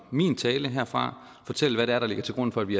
min tale herfra fortælle hvad det er der ligger til grund for at vi